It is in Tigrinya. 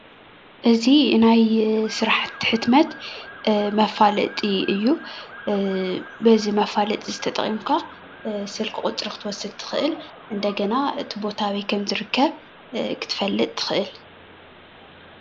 እዚ ናይ ስራሕቲ ሕትመት መፍለጢ እዩ፤ በዚ መፍለጢ እዚ ተጠቂምካ ስልክ ቁፅሪ ክትወስድ ትክእል እንደገና እቲ ቦታ ኣበይ ከም ዝርከብ ክትፍልጥ ትክእል።